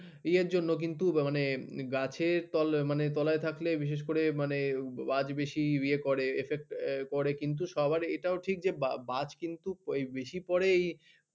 এর জন্য কিন্তু মানে গাছের তলায় মানে তলায় থাকলে বিশেষ করে মানে বাজ বেশি ইয়ে করে affect করে কিন্তু সবার এটাও ঠিক যে কিন্তু বাজ কিন্তু বেশি পরে এই